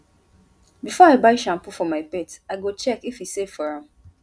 before i buy shampoo for my pet i go check if e safe for am